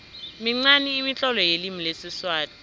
minqani imitlolo yelimi lesiswati